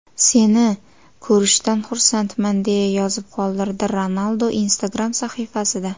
Seni ko‘rishdan xursandman”, deya yozib qoldirdi Ronaldu Instagram sahifasida.